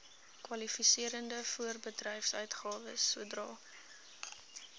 kwalifiserende voorbedryfsuitgawes sodra